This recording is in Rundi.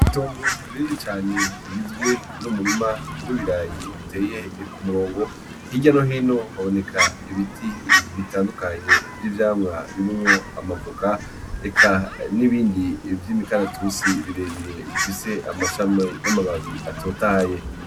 Itongo rinini cane rigizwe n'umurima w'ibirayi biteye ku murongo, hirya no hino haboneka ibiti bitandukanye vy'ivyamwa birimwo amavoka, eka n'ibindi vy'imikaratusi birebire bifise amashami n'amababi atotahaye.